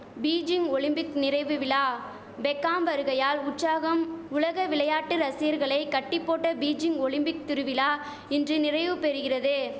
Beijing Olympic நிறைவு விழா Beckham வருகையால் உற்சாகம் உலக விளையாட்டு ரசிகர்களை கட்டி போட்ட பீஜிங் ஒலிம்பிக் திருவிழா இன்று நிறைவு பெறுகிறது